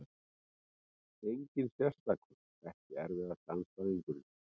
Engin sérstakur EKKI erfiðasti andstæðingur?